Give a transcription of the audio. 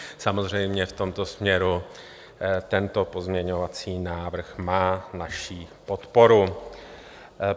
Samozřejmě v tomto směru tento pozměňovací návrh má naši podporu.